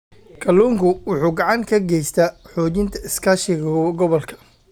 Kalluumeysigu wuxuu gacan ka geystaa xoojinta iskaashiga gobolka.